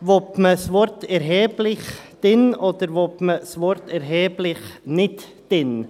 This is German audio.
Will man das Wort «erheblich» drin, oder will man das Wort «erheblich» nicht drin haben?